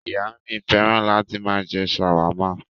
Ìyá mi fẹ́ràn láti máa jẹ ṣàwámà.